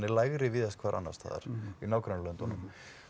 lægri víðast hvar annars staðar í nágrannalöndunum